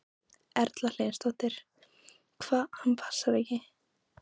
Erla Hlynsdóttir: Hvað, hann passar ekki?